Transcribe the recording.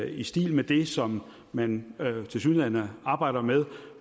i stil med det som man tilsyneladende arbejder med